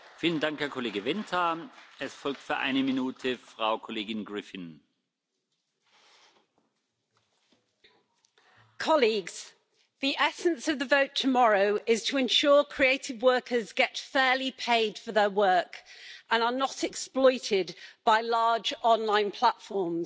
Mr President, colleagues, the essence of the vote tomorrow is to ensure creative workers get fairly paid for their work and are not exploited by large online platforms.